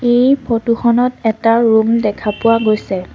এই ফটো খনত এটা ৰুম দেখা পোৱা গৈছে।